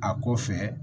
A ko fɛ